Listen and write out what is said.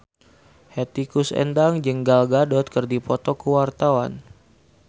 Hetty Koes Endang jeung Gal Gadot keur dipoto ku wartawan